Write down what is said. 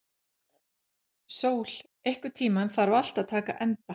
Sól, einhvern tímann þarf allt að taka enda.